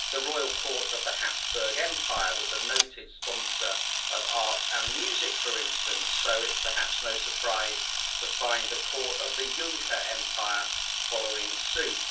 The Royal Court of the Habsburg Empire was a noted sponsor of art and music, for instance, so it's perhaps no surprise to find the court of the Juncker empire following suit.